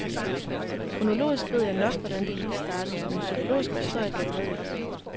Kronologisk ved jeg nok, hvordan det hele startede, men psykologisk forstår jeg det stadig ikke.